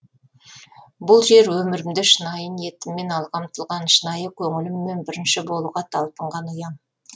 бұл жер өмірімде шынайы ниетіммен алға ұмтылған шынайы көңіліммен бірінші болуға талпынған ұям